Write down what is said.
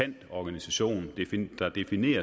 en organisation